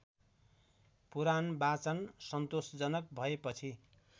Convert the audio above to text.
पुराणवाचन सन्तोषजनक भएपछि